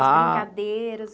Ah. As brincadeiras?